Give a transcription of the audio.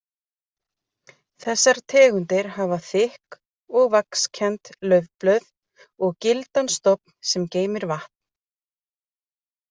Þessar tegundir hafa þykk og vaxkennd laufblöð og gildan stofn sem geymir vatn.